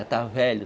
Já estava velho.